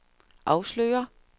afslører